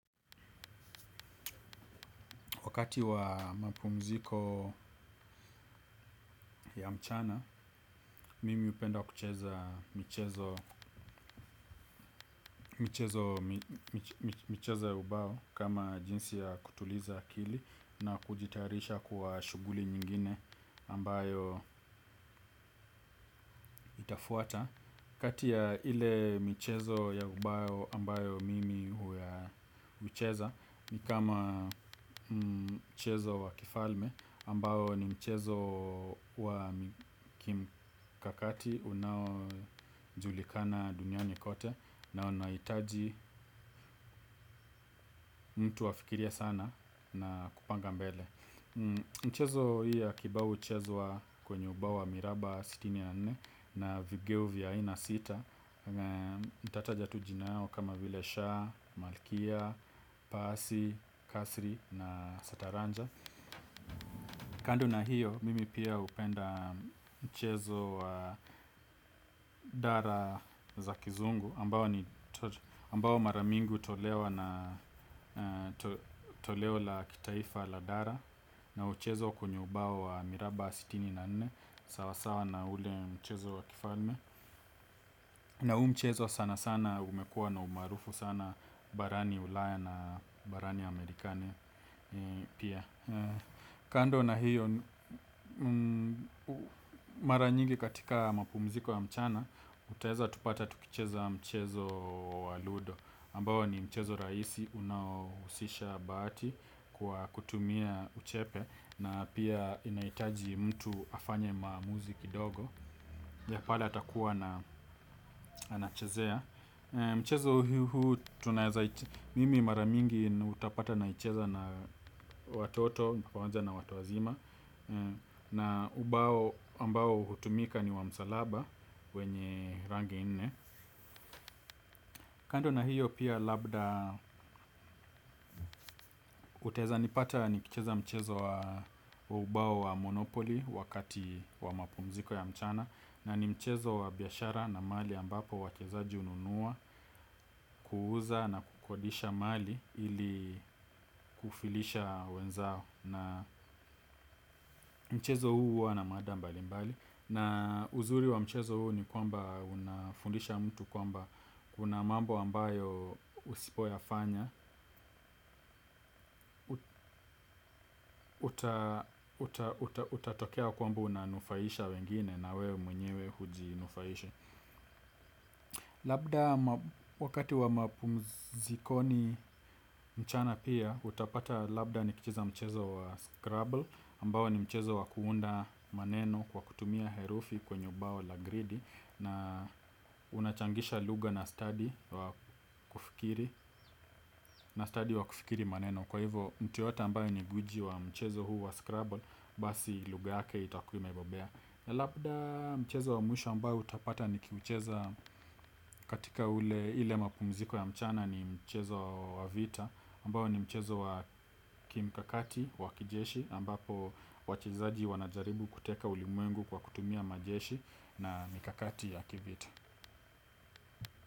Wakati wa mapumziko ya mchana, mimi hupenda kucheza michezo ya ubao kama jinsi ya kutuliza na kujitayarisha kwa shughuli nyingine ambayk itafuata. Kati ya ile mchezo ya ubao ambayo mimi hucheza ni kama mchezo wa kifalme ambayo ni mchezo wa kim kakati. Unaojulikana duniani kote na unaitaji mtu afikiria sana na kupanga mbele. Mchezo hii ya kibao mchezo wa kwenye ubayo wa miraba sitini na nne na vigeo vya aina sita. Tata jatujinao kama vile Shah, Malkia, Pasi, Kasri na Sataranja. Kando na hiyo, mimi pia hupenda mchezo wa dara za kizungu ambao mara mingi hutolewa na kitaifa la dara na mchezo kwenye ubao wa miraba sitini na nne. Sawa sawa na ule mchezo wa kifalme na huu mchezo sanasana umekuwa na umaarufu sana barani ulaya na barani amerikani pia kando na hiyo mara nyingi katika mapumziko ya mchana tutaeza kuoata tukicheza mchezo wa lundo ambao ni mchezo rahisi unahusisha bahati kwa kutumia uchepe na inahitaji mtu afanye maamuzi kidogo pale atakuwa na anachezea. Mchezo huu tunaeza mimi maramingi utapata naicheza na watoto Mpawanja na watu wazima na ubao ambao hutumika ni wa msalaba. Wenye rangi nne. Kando na hiyo pia labda utaeza nipata nikicheza mchezo wa ubao wa monopoli. Wakati wa mapumziko ya mchana na ni mchezo wa biashara na mahali ambapo wachezaji ununua kuuza na kukodisha mali ili kufilisha wenzao. Na mchezo huu wana maada mbali mbali. Na uzuri wa mchezo huu ni kwamba unafundisha mtu kwamba kuna mambo ambayo usipo yafanya utatokea kwamba unanufaisha wengine na wewe mwenyewe hujinufaishi labda wakati wa mapumzikoni mchana pia utapata pia nikicheza mchezo wa scramble ambao ni wa kuunda maneno kwa kutumia herifi kwenye ubao la gredi na stafi wa kufikiri maneno kwa hivyo mtu yeyote ambaye ni stadi wa kuskiza hii maneno. Basi lugha yake itakuwa mebobea. Labda mchezo wa mwisho ambao utapata nikicheza katika ule ile mapungziko ya mchana ni mchezo wa vita ambayo ni mchezo wa Kim Kakati wakijeshi ambapo wachizaji wanajaribu kuteka ulimuengu kwa kutumia majeshi na mikakati ya kivita.